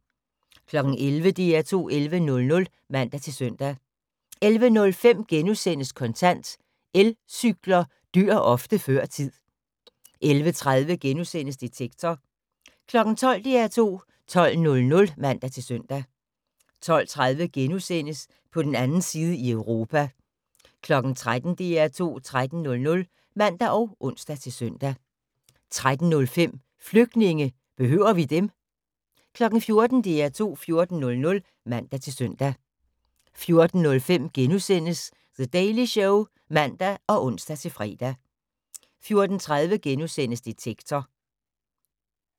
11:00: DR2 11.00 (man-søn) 11:05: Kontant: Elcykler dør ofte før tid * 11:30: Detektor * 12:00: DR2 12.00 (man-søn) 12:30: På den 2. side i Europa * 13:00: DR2 13.00 (man og ons-søn) 13:05: Flygtninge – behøver vi dem? 14:00: DR2 14.00 (man-søn) 14:05: The Daily Show *(man og ons-fre) 14:30: Detektor *